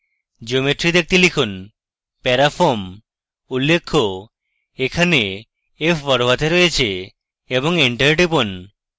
geometry দেখতে লিখুন parafoam উল্লেখ্য এখানে f বড়হাতে রয়েছে এবং এন্টার টিপুন